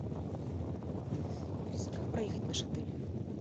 алиса как проехать в наш отель